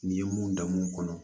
N'i ye mun dan mun kɔnɔ